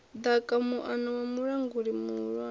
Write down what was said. ḓaka muano wa mulanguli muhulwane